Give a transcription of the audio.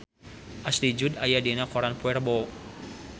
Ashley Judd aya dina koran poe Rebo